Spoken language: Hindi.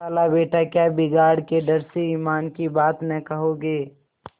खालाबेटा क्या बिगाड़ के डर से ईमान की बात न कहोगे